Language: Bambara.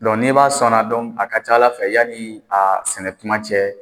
n'i b'a sɔnna a ka ca Ala fɛ yanni a sɛnɛ tuma cɛ